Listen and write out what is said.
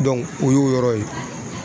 o y'o yɔrɔ ye